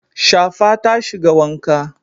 Shafa ta shiga wanka.